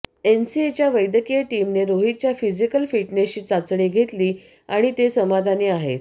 एनसीएच्या वैद्यकीय टीमने रोहितच्या फिजिकल फिटनेसची चाचणी घेतली आणि ते समाधानी आहेत